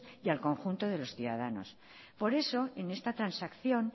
y al conjunto de los ciudadanos por eso en estas transacción